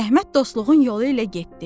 Əhməd dostluğun yolu ilə getdi.